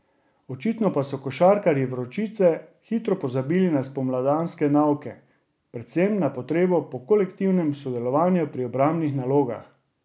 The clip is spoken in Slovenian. Očitno pa so košarkarji Vročice hitro pozabili na spomladanske nauke, predvsem na potrebo po kolektivnem sodelovanju pri obrambnih nalogah.